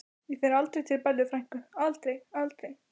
Ég fer aldrei til Bellu frænku, aldrei, aldrei.